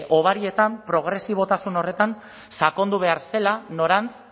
hobarietan progresibotasun horretan sakondu behar zela norantz